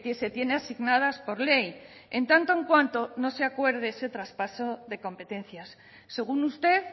se tiene asignadas por ley en tanto en cuanto no se acuerde ese traspaso de competencias según usted